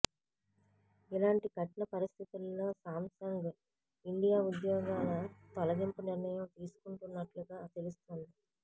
ఇలాంటి కఠిన పరిస్థితుల్లో శాంసంగ్ ఇండియా ఉద్యోగాల తొలగింపు నిర్ణయం తీసుకున్నట్లుగా తెలుస్తోంది